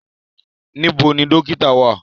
Níbọ̀ ni dòkìtà wa?